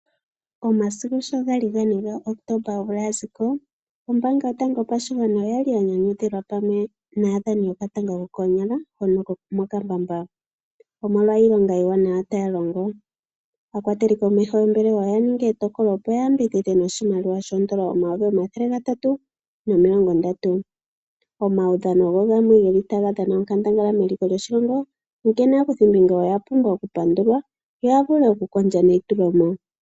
Omasiku dho gali gane ga Kotomba omvula ya zi ko, ombaanga yopashigwana oya li ya nyanyukilwa pamwe naadhani yokatanga ko koonyala hono ko mokambamba, omolwa iilonga iiwanawa yaya longo. Aakwateli komeho yoombelewa oya ninga etokolo opo ya yambidhidhe noshimaliwa shoondola omayovi omathele gatatu nomilongo ndatu. Omaudhano ogo gamwe geli ta ga dhana onkandangala meliko lyoshilongo, onkene aakuthimbinga oya pumbwa okupandulwa, yo ya vule okukondja neyitulomo.